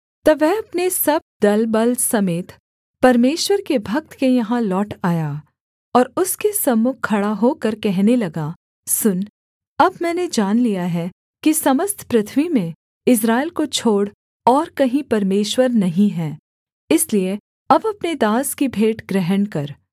तब वह अपने सब दल बल समेत परमेश्वर के भक्त के यहाँ लौट आया और उसके सम्मुख खड़ा होकर कहने लगा सुन अब मैंने जान लिया है कि समस्त पृथ्वी में इस्राएल को छोड़ और कहीं परमेश्वर नहीं है इसलिए अब अपने दास की भेंट ग्रहण कर